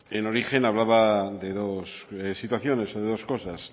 en origen hablaba de dos situaciones de dos cosas